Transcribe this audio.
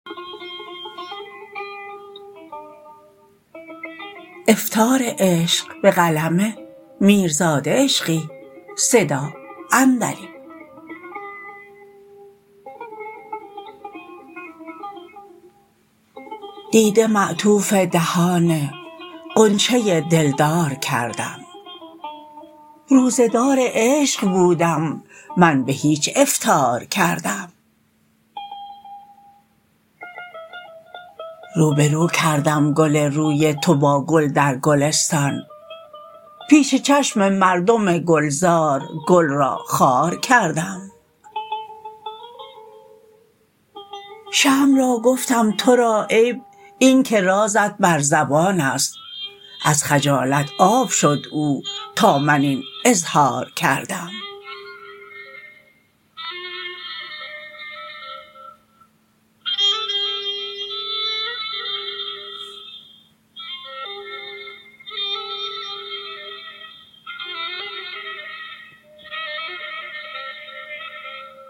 دیده معطوف دهان غنچه دلدار کردم روزه دار عشق بودم من به هیچ افطار کردم روبه رو کردم گل روی تو با گل در گلستان پیش چشم مردم گلزار گل را خار کردم شمع را گفتم تو را عیب این که رازت بر زبان است از خجالت آب شد او تا من این اظهار کردم